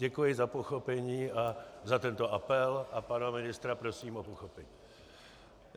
Děkuji za pochopení a za tento apel a pana ministra prosím o pochopení.